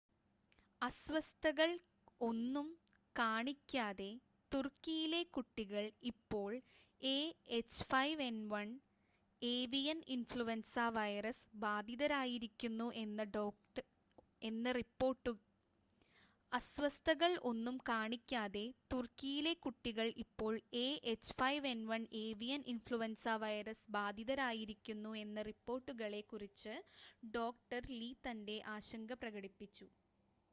അസ്വസ്ഥതകൾ ഒന്നും കാണിക്കാതെ തുർക്കിയിലെ കുട്ടികൾ ഇപ്പോൾ എഎച്ച്5എൻ1 ഏവിയൻ ഇൻഫ്ലുൻസ വൈറസ് ബാധിതരായിരിക്കുന്നു എന്ന റിപ്പോർട്ടുകളെ കുറിച്ച് ഡോക്ടർ ലീ തന്റെ ആശങ്ക പ്രകടിപ്പിച്ചു